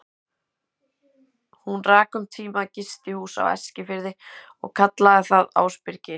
Hún rak um tíma gistihús á Eskifirði og kallaði það Ásbyrgi.